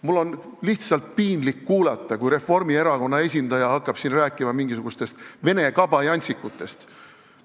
Mul oli lihtsalt piinlik kuulata, kui Reformierakonna esindaja hakkas siin rääkima mingisugustest vene kabajantsikutest.